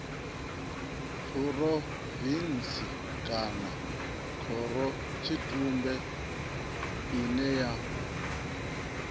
phurovintsi kana khorotshitumbe ine ya